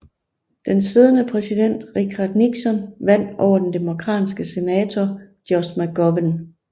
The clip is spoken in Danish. Den siddende præsident Richard Nixon vandt over den demokratiske senator George McGovern